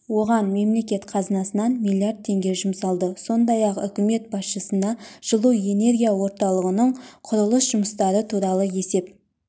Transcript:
оған мемлекет қазынасынан миллиард теңге жұмсалды сондай-ақ үкімет басшысына жылу энергия орталығының құрылыс жұмыстары туралы есеп